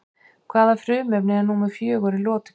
Hvaða frumefni er númer fjögur í lotukerfinu?